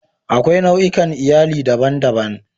Akwai nau'ikan Iyali daban-daban.